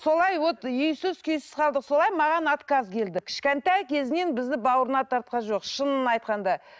солай вот үйсіз күйсіз қалдық солай маған отказ келді кішкентай кезінен бізді бауырына тартқан жоқ шынын айтқанда